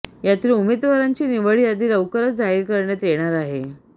यातील उमेदवारांची निवड यादी लवकरच जाहीर करण्यात येणार आहे